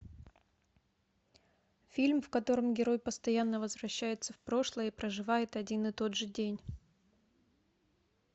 фильм в котором герой постоянно возвращается в прошлое и проживает один и тот же день